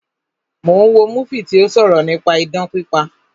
Mo ń wo múfì tí ó sọ̀rọ̀ nípa idán pípa